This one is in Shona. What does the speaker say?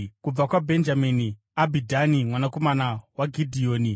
kubva kwaBhenjamini, Abhidhani mwanakomana waGidheoni;